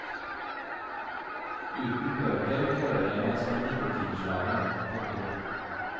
Uten bøker føler jeg meg som en nikotinslave. punktum